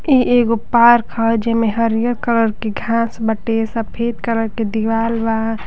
इ एगो पार्क ह। जेमे हरिहर कलर की घास बाटे। सफेद कलर के दीवाल बा।